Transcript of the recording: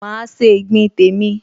Máa se ìgbín tèmi